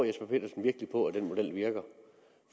jesper petersen virkelig på at den model virker